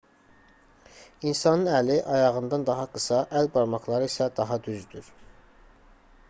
i̇nsanın əli ayağından daha qısa əl barmaqları isə daha düzdür